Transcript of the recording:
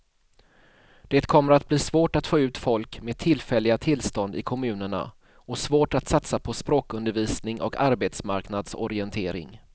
Det kommer att bli svårt att få ut folk med tillfälliga tillstånd i kommunerna och svårt att satsa på språkundervisning och arbetsmarknadsorientering.